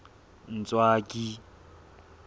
ntswaki